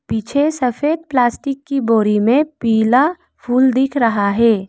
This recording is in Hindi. पीछे सफेद प्लास्टिक की बोरी में पीला फूल दिख रहा है।